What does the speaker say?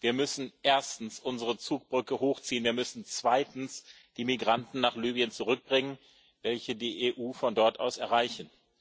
Wir müssen erstens unsere Zugbrücke hochziehen, wir müssen zweitens die Migranten nach Libyen zurückbringen, welche die EU von dort aus erreichen.